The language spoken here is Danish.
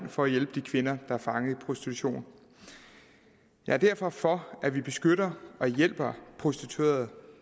for at hjælpe de kvinder der er fanget i prostitution jeg er derfor for at vi beskytter og hjælper prostituerede